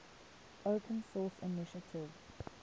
open source initiative